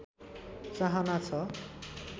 चाहना छ